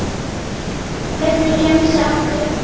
Hvernig gemsa áttu?